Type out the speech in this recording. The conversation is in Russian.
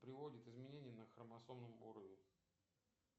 приводит изменения на хромосомном уровень